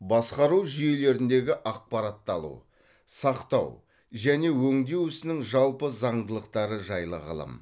басқару жүйелеріндегі ақпаратты алу сақтау және өңдеу ісінің жалпы заңдылықтары жайлы ғылым